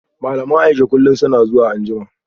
Malaman Aisha kullum suna zuwa anjima